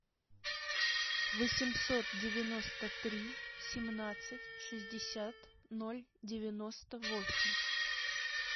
восемьсот девяносто три семнадцать шестьдесят ноль девяносто восемь